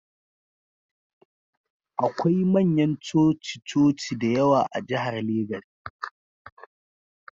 Akwai manyan coci-coci da yawa a jihar Legas